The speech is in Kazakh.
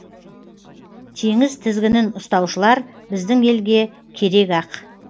теңіз тізгінін ұстаушылар біздің елге керек ақ